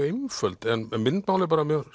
einföld en myndmálið er mjög